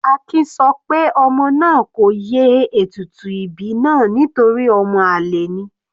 Akin sọ pé ọmọ náà kò ye ètùtù ìbí náà nítorí ọmọ àlè ni.